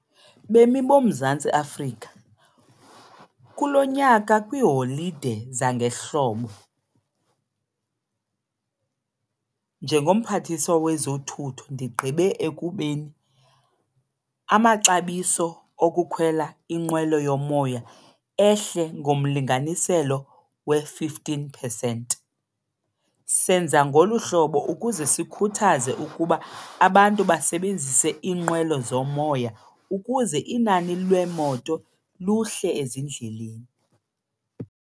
Bemi boMzantsi Afrika, kulo nyaka kwiiholide zangehlobo njengoMphathiswa wezoThutho ndigqibe ekubeni amaxabiso okukhwela inqwelo yomoya ehle ngomlinganiselo we-fifteen percent. Senza ngolu hlobo ukuze sikhuthaze ukuba abantu basebenzise iinqwelo zomoya ukuze inani leemoto luhle ezindleleni.